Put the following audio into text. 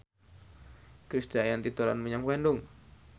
Krisdayanti dolan menyang Bandung